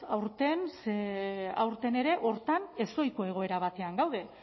aurten ze aurten ere hortan ezohiko egoera batean gaude